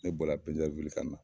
Ne bɔra kan na.